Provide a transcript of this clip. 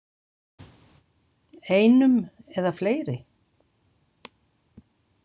Einum eða fleiri?